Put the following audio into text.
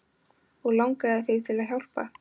Og langaði þig til að hjálpa?